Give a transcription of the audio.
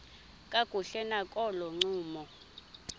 kakuhle nakolo ncumo